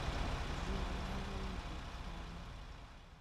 Ji nyalo yudo tuono.